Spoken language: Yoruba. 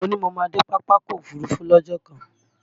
Mo ní mo máa dé Pápákọ̀ Òfurufú lọ́jọ́ kan